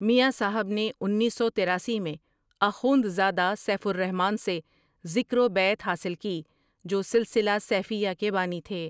میاں صاحب نے انیس سو تراسی میں آخوندزادہ سیف الرحمن سے ذکر و بیعت حاصل کی جو سلسلہ سیفیہ کے بانی تھے ۔